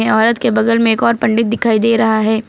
यहां औरत के बगल में एक और पंडित दिखाई दे रहा है।